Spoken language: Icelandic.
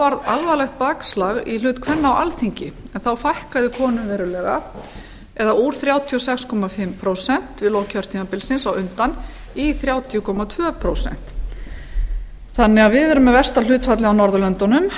varð alvarlegt bakslag í hlut kvenna á alþingi en þá fækkaði konum verulega eða úr þrjátíu og sex og hálft prósent við lok kjörtímabilsins á undan í þrjátíu komma tvö prósent við erum því með versta hlutfallið á norðurlöndunum